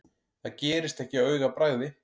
Það gerist ekki á augabragði.